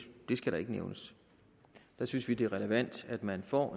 skal nævnes der synes vi det er relevant at man får